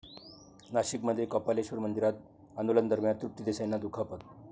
नाशिकमध्ये कपालेश्वर मंदिरात आंदोलनादरम्यान तृप्ती देसाईंना दुखापत